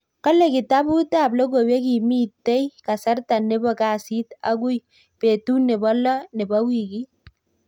Kale kitabut ab logoiwek kimitei kasarta nebo kasit akui betut nebo lo nebo wikit.